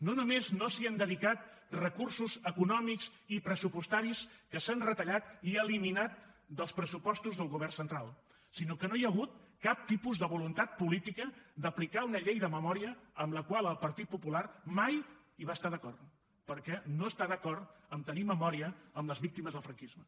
no només no s’hi han dedicat recursos econòmics i pressupostaris que s’han retallat i eliminat dels pressupostos del govern central sinó que no hi ha hagut cap tipus de voluntat política d’aplicar una llei de memòria amb la qual el partit popular mai hi va estar d’acord perquè no està d’acord a tenir memòria amb les víctimes del franquisme